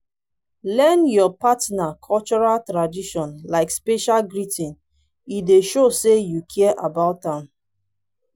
learn your partner cultural tradition like special greeting e dey show say you care about am